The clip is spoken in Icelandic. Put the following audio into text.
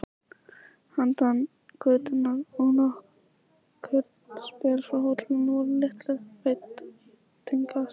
Handan götunnar og nokkurn spöl frá hótelinu voru litlir veitingastaðir.